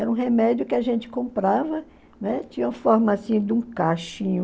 Era um remédio que a gente comprava, tinha a forma assim de um